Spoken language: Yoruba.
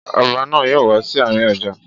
Ọba náà yóò wá sí àárín ọjà.